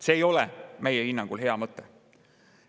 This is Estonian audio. See ei ole meie hinnangul hea mõte.